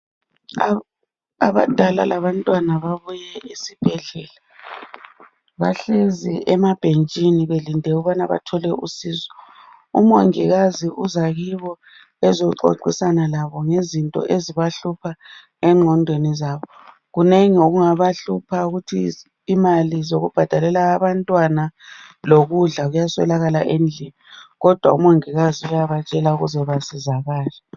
Abadala labantwana babuye esibhedlela. Bahlezi emabhentshini belinde ukubana bathole usizo. UMongikazi uza kibo ezoxoxisana labo ngezinto ezibahlupha egqondweni zabo. Kunengi okungabahlupha ukuthi imali zokubhadalela abantwana lokudla kuyaswelakala endlini, kodwa uMongikazi uyabatshela ukuze basizakale.